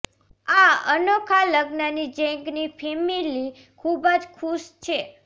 આ અનોખા લગ્નની ઝેંગની ફેમિલી ખૂબ જ ખુશ છે